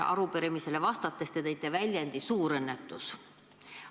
Arupärimisele vastates te kasutasite sõna "suurõnnetus".